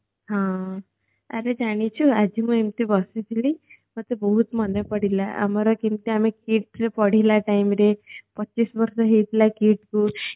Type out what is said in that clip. ହଁ ଆରେ ଜାଣିଛୁ ଆଜି ମୁ ଏମିତି ବସିଥିଲି ମତେ ବହୁତ ମନେ ପଡିଲା ଆମର କେମିତେ ଆମେ KIIT ରେ ପଢିଲା timeରେ ପଚିଶ ବର୍ଷ ହେଇଥିଲା KIIT କୁ